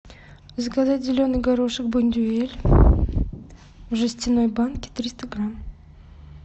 заказать зеленый горошек бондюэль в жестяной банке триста грамм